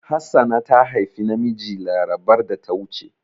Hassana ta haifi namiji larabar da ta wuce.